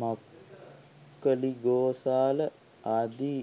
මක්ඛලිගෝසාල ආදී